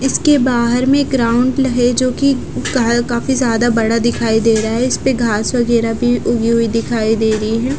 इसके बाहर में एक राउंड है जो काफी ज्यादा बड़ा दिखाई दे रहा है इस पर घास वगैरहा भी उगी हुई दिखाई दे रही है।